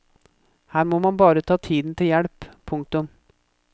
Her må man bare ta tiden til hjelp. punktum